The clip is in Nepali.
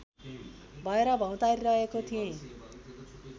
भएर भौँतारिरहेको थिएँ